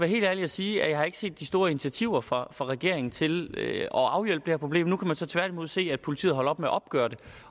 helt ærlig og sige at jeg ikke har set de store initiativer fra fra regeringen til at afhjælpe det her problem nu kan man så tværtimod se at politiet holder op med at opgøre det